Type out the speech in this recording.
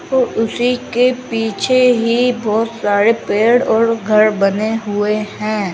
ओ उसी के पीछे ही बहोत सारे पेड़ और घर बने हुए हैं।